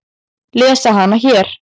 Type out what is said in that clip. Lesa hana hér.